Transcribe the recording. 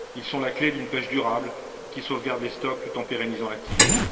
Ils sont la clé d'une pêche durable, qui sauvegarde les stocks tout en pérennisant l'activité.